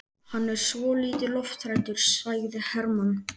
Hann er svolítið lofthræddur, sagði Hermann.